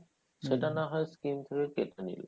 সেটা না হয় skim থেকে কেটে নিলো